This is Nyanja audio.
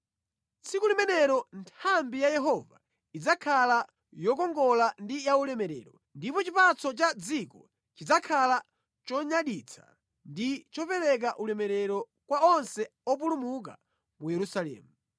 Tsiku limenelo Nthambi ya Yehova idzakhala yokongola ndi yaulemerero, ndipo chipatso cha mʼdziko chidzakhala chonyaditsa ndi chopereka ulemerero kwa onse opulumuka mu Israeli.